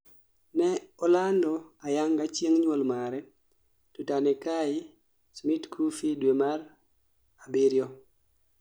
ne olando ayanga chieng' nyuol mare, Tutanekai Smit-Coffeny due mar Juli